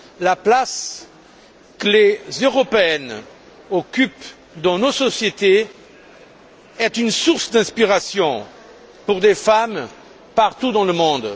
La place que les Européennes occupent dans nos sociétés est une source d'inspiration pour les femmes partout dans le monde.